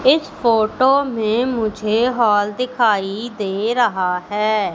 इस फोटो में मुझे हॉल दिखाई दे रहा है।